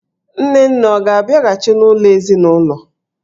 Nne nne ọ ga-abịghachị n'ụlọ ezinụlọ?